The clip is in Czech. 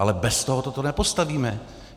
Ale bez tohoto to nepostavíme.